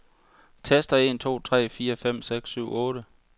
Tester en to tre fire fem seks syv otte.